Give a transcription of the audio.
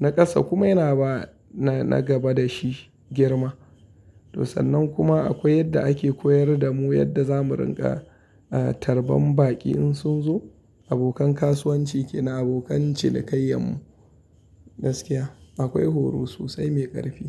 Na ƙasa kuma yana ba na gaba da shi girma. To sannan kuma akwai yadda ake koyar da mu yadda zamu rinƙa tarban baƙi in sun zo. Abokan kasuwanci kenan abokan cinikayyan mu gaskiya akwai horo sosai mai ƙarfi.